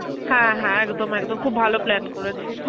হ্যাঁ হ্যাঁ একদম একদম, খুব ভালো plan করেছিস